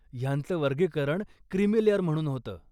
ह्यांचं वर्गीकरण creamy layer म्हणून होतं.